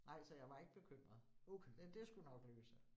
Nej, så jeg var ikke bekymret. Det skulle nok løse sig